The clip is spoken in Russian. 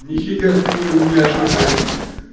нифига какой он няшный прям